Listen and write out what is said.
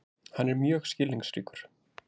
Hann er mjög skilningsríkur.